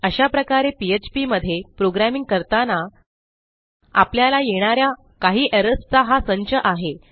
अशा प्रकारे पीएचपी मध्ये प्रोग्रॅमिंग करतानाआपल्याला येणा या काही एरर्स चा हा संच आहे